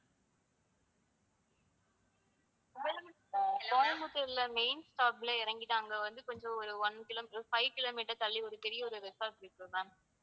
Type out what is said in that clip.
கோயம்புத்தூர்ல, கோயம்புத்தூர்ல main stop ல இறங்கிட்டு அங்க வந்து கொஞ்சம் ஒரு one kilometer, five kilometer தள்ளி ஒரு பெரிய ஒரு resort இருக்கு ma'am